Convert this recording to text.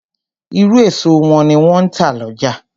Irú èso wọ́n ni wọn ń tà lọ́jà